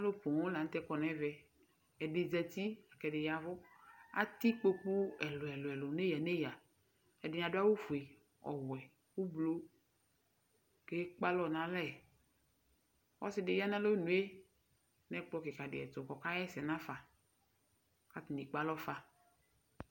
alò poŋ lantɛ kɔ n'ɛvɛ ɛdi zati la k'ɛdi ya vu atɛ ikpoku ɛlò ɛlò ɛlò n'eya n'eya ɛdini adu awu fue ɔwɛ ublu k'ekpe alɔ n'alɛ ɔsi di ya n'alɔnu yɛ n'ɛkplɔ keka di ɛto k'ɔka ɣa ɛsɛ nafa k'atani ekpe alɔ fa.